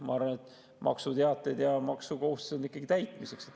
Ma arvan, et maksuteated ja maksukohustused on ikkagi täitmiseks.